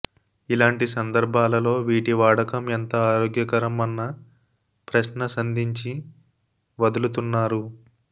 ఇలాంటి సందర్భాలలో వీటి వాడకం ఎంత ఆరోగ్యకరం అన్న ప్రశ్న సంధించి వదులుతున్నారు